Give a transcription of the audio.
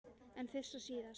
En fyrst og síðast.